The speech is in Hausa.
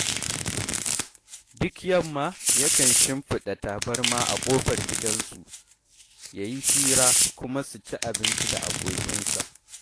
Duk yamma yakan shimfiɗa tabarma a ƙofar gida su yi hira kuma su ci abinci da abokansa